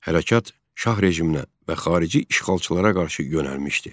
Hərəkat şah rejiminə və xarici işğalçılara qarşı yönəlmişdi.